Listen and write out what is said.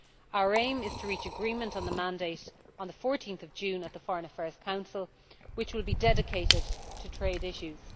Our aim is to reach agreement on the mandate on 14 June at the Foreign Affairs Council, which will be dedicated to trade issues.